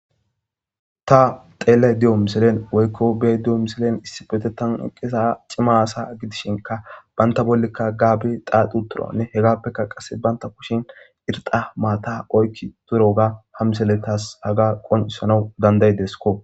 Tha xeellaydda diyo misilen woykko be7aydda diyo misilen issippetheththan eqqiza cima asaa gidishinkka banththa bollikka gaabe xaaxuuththiroonne hegaappekka qassi banththa kushen irxxa maathaa oykki7uththiroogaa ha misilee thas hagaa qonccissanawu danddayides koo.